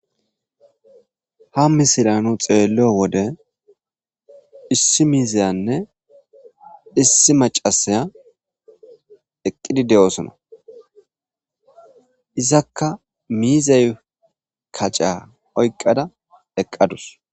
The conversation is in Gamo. Ha misiliya nu xeeelliyo wode issi miiziyanne issi maccasiya eqqidi de'osona. Izakka miizay kaca oyiqqada eqqadus.